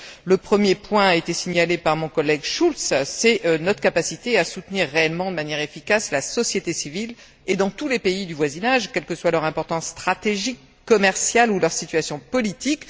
Le premier point, qui a été signalé par mon collègue Schulz, c'est notre capacité à soutenir réellement, de manière efficace, la société civile et dans tous les pays du voisinage, quelle que soit leur importance stratégique, commerciale, ou leur situation politique.